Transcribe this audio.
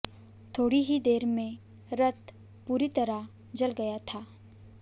थोड़ी ही देर में रथ पूरी तरह जल गया था